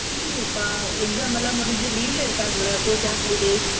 இல்லையே பா exam எல்லாம் முடுஞ்சு leave ல இருக்காங்களா பூஜா holidays